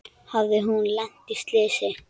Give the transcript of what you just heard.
Hafði hún lent í slysi?